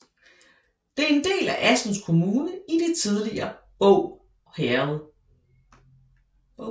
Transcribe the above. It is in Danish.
Det er en del af Assens Kommune i det tidligere Båg Herred